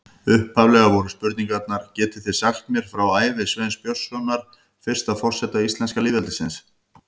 Upphaflega voru spurningarnar: Getið þið sagt mér frá ævi Sveins Björnssonar, fyrsta forseta íslenska lýðveldisins?